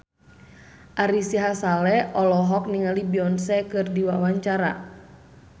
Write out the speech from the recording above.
Ari Sihasale olohok ningali Beyonce keur diwawancara